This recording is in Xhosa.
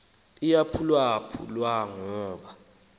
uyaphulwaphu lwa ngoba